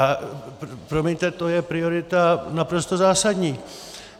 A promiňte, to je priorita naprosto zásadní.